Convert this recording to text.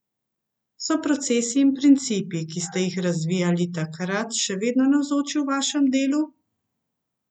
So procesi in principi, ki ste jih razvijali takrat, še vedno navzoči v vašem delu?